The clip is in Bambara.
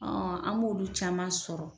an m'olu caman sɔrɔ